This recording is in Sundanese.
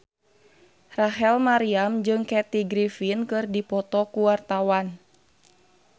Rachel Maryam jeung Kathy Griffin keur dipoto ku wartawan